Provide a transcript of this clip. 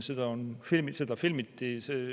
Seda filmiti.